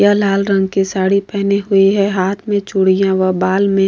यह लाल रंग की साड़ी पहनी हुई है हाथ में चूड़ियाँ व बाल में --